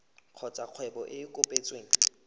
kgotsa kgwebo e e kopetsweng